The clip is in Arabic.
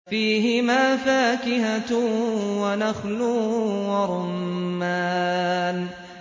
فِيهِمَا فَاكِهَةٌ وَنَخْلٌ وَرُمَّانٌ